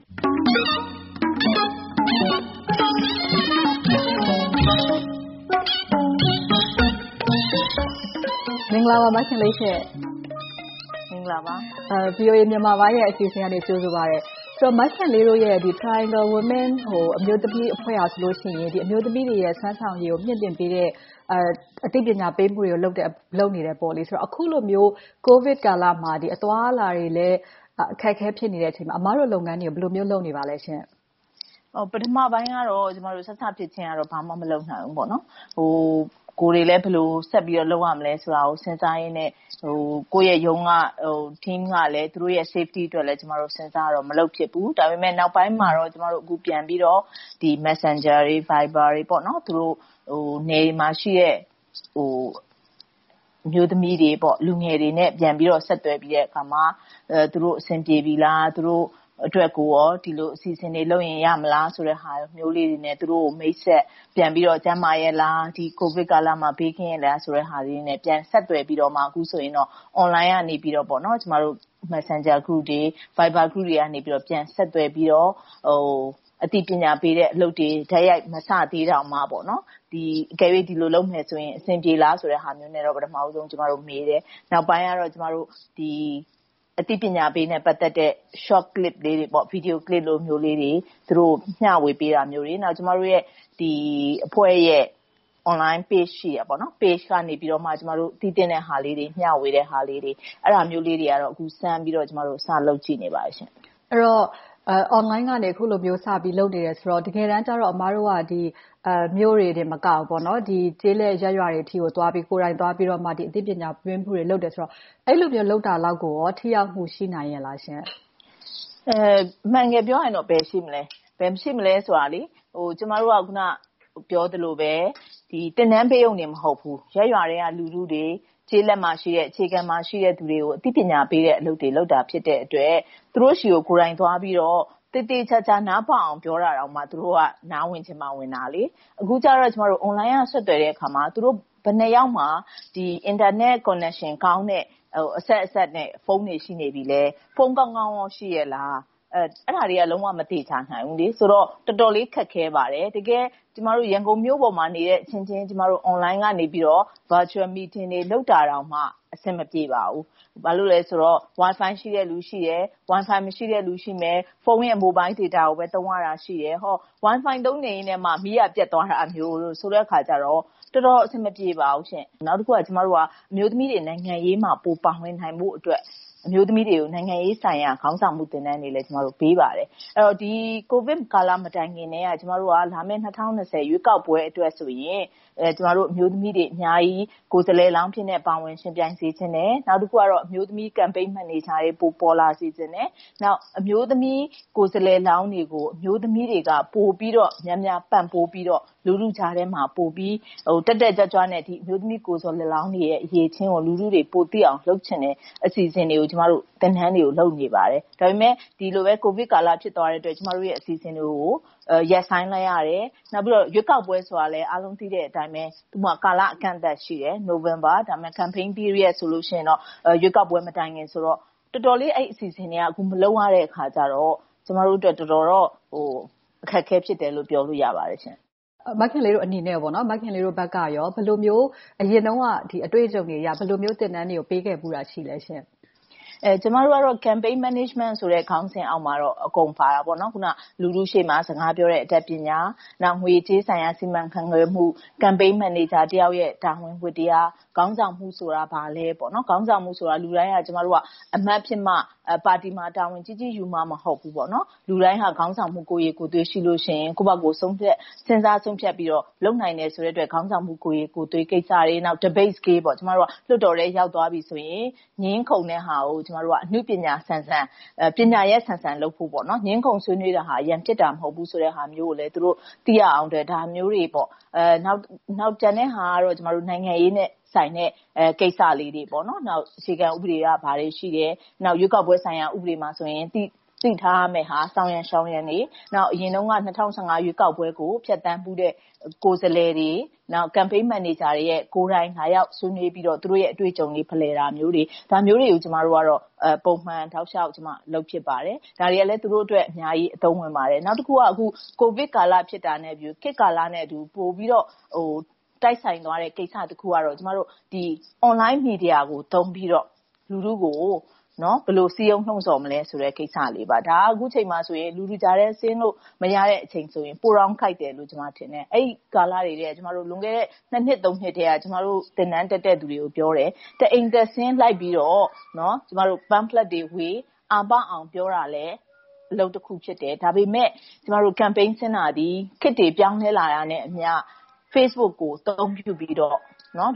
မင်္ဂလာပါ မခင်လေး။ VOA မြန်မာပိုင်းအစီအစဉ်က ကြိုဆိုပါတယ်။။ မခင်လေးတို့ရဲ့ Triangle Women အမျိုးသမီးအဖွဲ့ကဆိုရင် အမျိုးသမီးများစွမ်းဆောင်ရေးကို မြှင့်တင်ပေးနေတဲ့ အသိပညာပေးသူတွေကို လုပ်နေတယ်။ အခုလိုမျိုး ကိုဗစ်ကာလမှာ အသွားအလာတွေလဲ အခက်အခဲ ဖြစ်နေတဲ့အချိန်မှာ အမတို့ လုပ်ငန်းတွေကို ဘယ်လိုမျိုး လုပ်နေပါလဲ။ ပထမပိုင်းတော့ စစဖြစ်ချင်းတော့ ဘာမှမလုပ်နိုင်ဘူးပေါ့။ ကိုယ်တွေလဲ ဘယ်လိုဆက်ပြီး လုပ်ရမလဲဆိုတာကို စဉ်းစားကြရင်းနဲ့ ကိုယ့်ရဲ့ရုံးက Team ကလဲ သူတို့ Safety အတွက်လဲ စဉ်းစားကြတော့ ကျမတို့ ဘာမှမလုပ်ဖြစ်ဘူး။ ဒါပေမဲ့ နောက်ပိုင်းမှာတော့ ကျမတို့ ပြန်ပြီးတော့ Messenger, Viber တွေနဲ့ နယ်တွေမှာရှိတဲ့ အမျိုးသမီးတွေ၊ လူငယ်တွေနဲ့ ပြန်ပြီးဆက်သွယ်ပြီးတဲ့အခါမှာ သူတို့အဆင်ပြေပြီလား။ သူတို့အတွက် ဒီလိုအစီအစဉ်တွေလုပ်ရင် ရမလားဆိုတာမျိုးတွေနဲ့ သူတို့နဲ့ပြန်မိတ်ဆက်၊ ကျန်းမာကြလား။ ကိုဗစ်ကာလမှာ ဘေးကင်းကြရဲ့လားဆိုတာတွေ မေးမြန်းဆက်သွယ်ပြီးတော့ Online ကနေ Messenger Group, Viber Group တွေနဲ့ ပြန်ဆက်သွယ်ပြီးတော့ အသိပညာပေးအလုပ်တွေ တိုက်ရိုက်မစသေးပေမယ့်၊ အကယ်၍ ဒီလိုလုပ်ရင် အဆင်ပြေမလားဟာမျိုးနဲ့ ကျမတို့မေးတယ်။ နောက်ပိုင်းကတော့ အသိပညာပေးနဲ့ ပတ်သက်တဲ့ Short Clip လေးတွေ Video Clip လိုဟာမျိုးလေးတွေ မျှဝေပေးတာမျိုးတွေ။ ပြီးတော့ ကျမတို့ရဲ့အဖွဲ့ Online Page ကနေ သိသင့်တဲ့ဟာလေးတွေ မျှဝေနိုင်တာလေးတွေကိုတော့ စမ်းပြီးတော့ စလုပ်ကြည့်နေပါတယ်။ အခုလို Online ကနေ အခုလိုမျိုး စပြီးလုပ်နေပြီဆိုတော့ တကယ်တမ်းကြတော့ အမတို့က မြို့တွေသာမကဘူး၊ ကျေးလက်ရပ်ရွာတွေကို သွားပြီးတော့ အသိပညာပေးအလုပ်တွေ လုပ်တယ်ဆိုတော့ အဲဒီလိုလုပ်တာလောက်ကိုကော ထိရောက်မှု ရှိနိုင်ရဲ့လားရှင့်။ အမှန်တကယ်ပြောရရင်တော့ ဘယ်ရှိမလဲ။ ဘယ်ရှိမလဲဆိုတာက ကျမတို့က အခုနကပြောသလိုပဲ သင်တန်းပေးရုံတင်မဟုတ်ဘူး။ ရပ်ရွာထဲက လူထုတွေ၊ ကျေးလက်မှာရှိတဲ့၊ အခြေခံမှာရှိတဲ့လူတွေကို အသိပညာပေးတဲ့ အလုပ်တွေ လုပ်တာဖြစ်တဲ့အတွက် သူတို့ဆီကို ကိုယ်တိုင်သွားပြီးတော့ သေသေချာချာ နားပေါက်အောင် ပြောတာတောင်မှ သူတို့က နားဝင်ချင်မှဝင်တာပါ။ အခုကြတော့ Online က ဆက်သွယ်တယ်အခါမှာ ဘယ်နှစ်ယောက်မှာ၊ အင်တာနက်ကွန်နက်ရှင်ကောင်းတဲ့ အဆက်အစပ်နဲ့ ဖုန်းတွေ ရှိနေပြီလဲ။ ဖုန်းကောင်းကောင်း ရှိကြရဲ့လား။ အဲဒါတွေက လုံးဝမသေချာနိုင်ဘူး။ ဆိုတော့ တော်တော်လေး ခက်ခဲပါတယ်။ တကယ်တမ်း ရန်ကုန်မြို့ပေါ်မှာနေတဲ့ အချင်းချင်း Online ကနေ Virtual Meeting တွေ လုပ်တာတောင်မှ အဆင်မပြေပါဘူး။ ဘာဖြစ်လို့လဲဆိုတော့ Wi-Fi ရှိတဲ့လူ ရှိတယ်။ Wi-Fi မရှိတဲ့လူ ရှိမယ်။ ဖုန်းရဲ့ မိုဘိုင်ဒေတာကိုပဲ သုံးရတာရှိတယ်။ Wi-Fi သုံးနေရင်က မီးကပျက်သွားတာမျိုး ဆိုတဲ့အခါကြတော့ တော်တော်အဆင်မပြေပါဘူး။ နောက်တခုက ကျမတို့က အမျိုးသမီးတွေနိုင်ငံရေးမှာ ပိုပါဝင်နိုင်ဖို့အတွက် အမျိုးသမီးတွေကို နိုင်ငံရေးဆိုင်ရာ ခေါင်းဆောင်မှု သင်တန်းတွေလည်း ပေးပါတယ်။ ကိုဗစ်ကာလမတိုင်ခင်ကတည်းက လာမယ့် ၂၀၂၀ ရွေးကောက်ပွဲအတွက်ဆိုရင် ကျမတို့ အမျိုးသမီးတွေ အများကြီးကိုယ်စားလှယ်လောင်းအဖြစ်နဲ့ ပါဝင်ယှဉ်ပြိုင်စေချင်တယ်။ နောက်တခုက အမျိုးသမီး Campaign Manager တွေ ပိုပေါ်လာစေချင်တယ်။ နောက် အမျိုးသမီးကိုယ်စားလှယ်လောင်းတွေကို အမျိုးသမီးတွေသာ ပိုပြီးတော့ များများပံ့ပိုးပြီးတော့ လူထုကြားထဲမှာ ပိုပြီးတက်တက်ကြွကြွနဲ့ အမျိုးသမီးကိုယ်စားလှယ်လောင်းတွေရဲ့ အရည်အချင်းကို လူထုတွေ ပိုသိအောင်လုပ်ချင်တဲ့ အစီအစဉ်တွေကို ကျမတို့ သင်တန်းတွေ လုပ်နေပါတယ်။ ဒါပေမဲ့ ဒီလိုကိုဗစ်ကာလ ဖြစ်သွားတဲ့အတွက် ကျမတို့ရဲ့ အစီအစဉ်တွေကို ရပ်ဆိုင်းလိုက်ရပါတယ်။ နောက်ပြီးတော့ ရွေးကောက်ပွဲဆိုတာလဲ အားလုံးသိတဲ့အတိုင်းပဲ သူ့မှာကာလအကန့်အသတ် ရှိတယ်။ နိုဝင်ဘာ Campaign Period ဆိုရင် ရွေးကောက်ပွဲမတိုင်မီဆိုတော့ တော်တော်လေး အဲဒီအစီအစဉ်တွေက အခုမလုပ်ရတော့ ကျမတို့အတွက် တော်တော်လေး အခက်အခဲဖြစ်တယ်လို့ ပြောလို့ရပါတယ်ရှင့်။ မခင်လေးတို့အနေနဲ့ မခင်လေးတို့ဘက်က ဘယ်လိုမျိုး အရင်တုန်းက အတွေ့အကြုံတွေအရ ဘယ်လိုမျိုး သင်တန်းတွေကို ပေးခဲ့ဖူးတာ ရှိပါသလဲရှင့်။ ကျမတို့ကတော့ Campaign Management ခေါင်းစဉ်အောက်မှာတော့ အကုန်ပါတာပေါ့။ လူထုရှေ့မှာ စကားပြောတဲ့ အတတ်ပညာ၊ ငွေကြေးဆိုင်ရာ စီမံခန့်ခွဲမှု၊ Campaign Manager တယောက်ရဲ့ တာဝန်ဝတ္တရား၊ ခေါင်းဆောင်မှုဆိုတာ ဘာလဲ။ ခေါင်းဆောင်မှုဆိုတာ လူတိုင်းက အမတ်ဖြစ်မှ၊ ပါတီမှာ တာဝန်ကြီးကြီးယူမှ မဟုတ်ဘူး။ လူတိုင်းဟာ ခေါင်းဆောင်မှု ကိုယ်ရည်ကိုယ်သွေး ရှိလို့ရှိရင်၊ ကိုယ့်ဘာသာ စဉ်းစားဆုံးဖြတ်ပြီးတော့ လုပ်နိုင်တဲ့အတွက် ခေါင်းဆောင်မှု ကိုယ်ရည်ကိုယ်သွေးကိစ္စတွေ၊ Debate Skill - လွှတ်တော်ထဲ ရောက်သွားပြီဆိုရင် ငြင်းခုန်တဲ့ဟာကို ကျမတို့က အနုပညာဆန်ဆန်၊ ပညာရပ်ဆန်ဆန်လုပ်ဖို့။ ငြင်းခုန်ဆွေးနွေးတယ်ဆိုတာ ရန်ဖြစ်တာ မဟုတ်ဘူးဆိုတဲ့ဟာမျိုးကိုလဲ သူတို့သိရအောင်လို့ ဒါမျိုးတွေနဲ့ ကျန်တဲ့ဟာကတော့ နိုင်ငံရေးနဲ့ဆိုင်တဲ့ ကိစ္စရပ်လေးတွေ။ အခြေခံဥပဒေက ဘာတွေရှိတယ်။ နောက်ရွေးကောက်ပွဲဆိုင်ရာ ဥပဒေမှာဆိုရင် သိထားရမယ့်ဟာ။ ဆောင်ရန်ရှောင်ရန်တွေ။ အရင်တုန်းက ၂၀၁၅ ရွေးကောက်ပွဲကို ဖြတ်သန်းဖူးတဲ့ ကိုယ်စားလှယ်တွေ။ နောက် Campaign Manager တွေရဲ့ ကိုယ်တိုင်လာရောက်ဆွေးနွေးပြီးတော့ သူတို့ရဲ့ အတွေ့အကြုံတွေ ဖလှယ်မျိုးတာတွေ။ ဒါမျိုးတွေကို ကျမတို့က ပုံမှန်တောက်လျှောက်လုပ်ဖြစ်ပါတယ်။ ဒါတွေကလဲ သူတို့အတွက် အများကြီးအသုံးဝင်ပါတယ်။ နောက်တခုက အခုက ကိုဗစ်ကာလဖြစ်တာနဲ့ ခေတ်ကာလနဲ့အတူ ပိုပြီးတော့ တိုက်ဆိုင်သွားတဲ့ကိစ္စတခုကတော့ Online Media ကို သုံးပြီးတော့ လူထုကို ဘယ်လိုစည်းရုံးလှုံဆော်မလဲဆိုတဲ့ ကိစ္စလေးပါ။ ဒါက အခုအချိန်မှာဆိုရင် လူထုကြားထဲဆင်းလို့ မရတဲ့အချိန်ဆိုရင် ပိုတောင်ကိုက်တယ်လို့ ကျမထင်တယ်။ အဲဒီကာလတွေ လွန်ခဲ့တဲ့ နှစ်၊ နှစ်ထဲက ကျမတို့ သင်တန်းတက်တဲ့လူတွေကို ပြောခဲ့ဖူးတယ်။ တအိမ်တက်ဆင်း လိုက်ပြီးတော့ Pamphlet တွေဝေ၊ အားပေါက်အောင် ပြောတာလဲ အလုပ်တခုဖြစ်တယ်။ ဒါပေမဲ့ ကျမတို့ Campaign ဆင်းတာသည်၊ ခေတ်တွေပြောင်းလဲလာတာနဲ့အမျှ Facebook ကို အသုံးပြုပြီးတော့